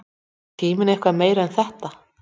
er tíminn eitthvað meira en þetta